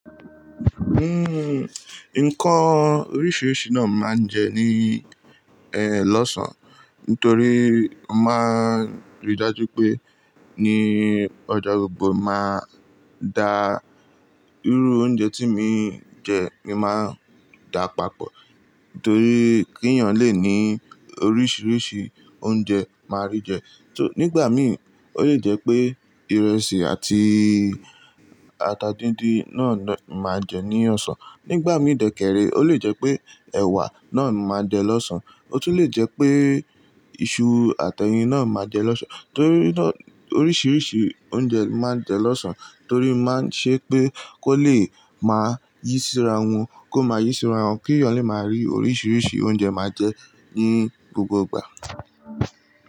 Uhm, nǹkan oríṣiríṣi náà ni máa ń jẹ ní, eh, lọ́sàn-án torí mo máa rí dájú pé ní ọjọ́ gbogbo máa da irú oúnjẹ tí mo ń jẹ, mo máa ń dà papọ̀ torí kí èèyàn lè ní oríṣiríṣi oúnjẹ máa rí jẹ. Nígbà mi, ó lè jẹ́ pé ìrẹsì àti ata díndín náà ni màá jẹ ní ọ̀sán. Nígbà mí dẹ̀kẹ̀rẹ̀, ó lè jẹ́ pé ẹ̀wà náà ni màá jẹ lọ́sàn. Ó tún lè jẹ́ pé iṣu àti ẹyin náà ni màá jẹ lọ́sàn. Torí náà, oríṣiríṣi oúnjẹ máa ń jẹ lọ́sàn-án torí máa ń ṣe pé kó lè máa yí síra wọn, kó máa yí síra wọn, kí èèyàn lè máa rí oríṣiríṣi oúnjẹ máa jẹ ní gbogbo ìgbà.